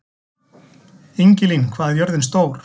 Ingilín, hvað er jörðin stór?